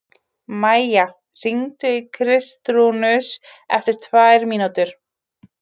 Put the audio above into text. Maía, hringdu í Kristrúnus eftir tvær mínútur.